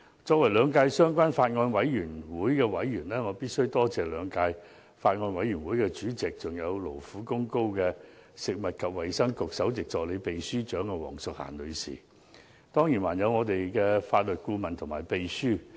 作為兩屆相關法案委員會的委員，我必須多謝兩屆法案委員會的主席，還有勞苦功高的食物及衞生局首席助理秘書長黃淑嫻女士，當然還有法律顧問和秘書。